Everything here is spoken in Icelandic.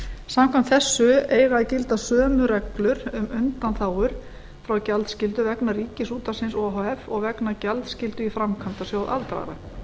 samkvæmt þessu eiga að gilda sömu reglur um undanþágur frá gjaldskyldu vegna ríkisútvarpsins o h f og vegna gjaldskyldu í framkvæmdasjóð aldraðra